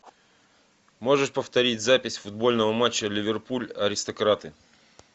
можешь повторить запись футбольного матча ливерпуль аристократы